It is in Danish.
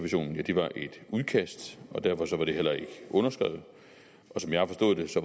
udkast og derfor var det heller ikke underskrevet